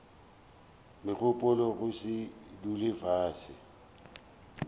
megopolo go se dule fase